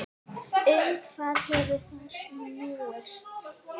Um hvað hefur það snúist?